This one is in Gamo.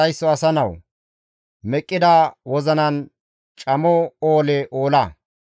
«Hessa gishshas haysso asa nawu! Meqqida wozinan camo oole oola.